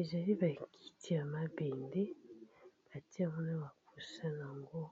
Ezali ba kiti ya mabende, batie yango na ba coussin nango